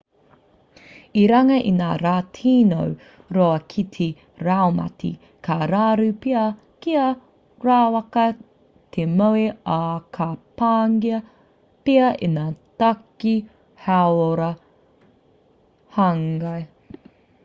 i runga i ngā rā tino roa ki te raumati ka raru pea kia rawaka te moe ā ka pāngia pea e ngā take hauora hāngai